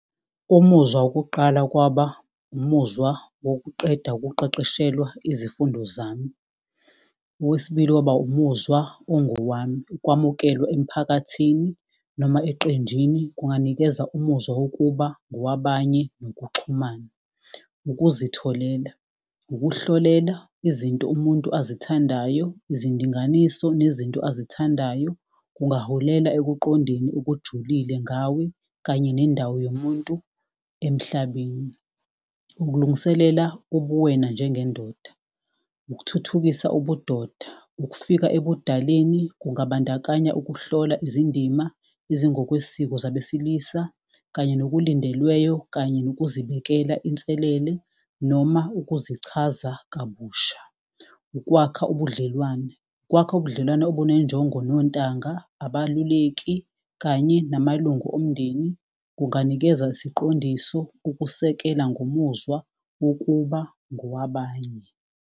Umuzwa wokuqala kwaba umuzwa wokuqeda ukuqeqeshelwa izifundo zami. Owesibili kwaba umuzwa ongowami, ukwamukelwa emphakathini. Noma eqenjini kunganikeza umuzwa wokuba ngowabanye nokuxhumana. Ukuzitholela, ukuhlolela izinto umuntu azithandayo, izindinganiso nezinto azithandayo. Kungaholela ekuqondeni okujulile ngawe kanye nendawo yomuntu emhlabeni. Ukulungiselela ubuwena njengendoda, ukuthuthukisa ubudoda, ukufika ebudaleni. Kungabandakanya ukuhlola izindima ezingokwesiko zabesilisa kanye nokulindelweyo. Kanye nokuzibekela inselele noma ukuzichaza kabusha. Ukwakha ubudlelwane, ukwakha ubudlelwane obunenjongo, nontanga, abaluleki kanye namalungu omndeni. Kunganikeza isiqondiso, ukusekela ngomuzwa wokuba ngowabanye.